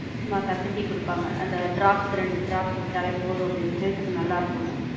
ஆமா கசக்கி குடுப்பாங்க அந்த drops ரெண்டு drops விட்டாலே போதும் அப்படின்னு, health க்கு நல்லா இருக்கும்னு.